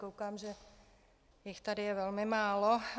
Koukám, že jich tady je velmi málo.